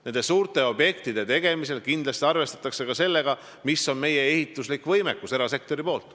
Nende suurte objektide tegemisel kindlasti arvestatakse sellega, mis on meie erasektori ehitusvõimekus.